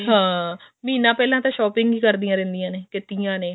ਹਾਂ ਮਹੀਨਾ ਪਹਿਲਾਂ ਤਾਂ shopping ਹੀ ਕਰਦੀਆਂ ਰਹਿੰਦੀਆਂ ਨੇ